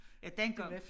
Ja dengang